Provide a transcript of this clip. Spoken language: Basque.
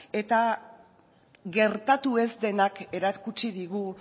eta gertatu ez denak erakutsi digu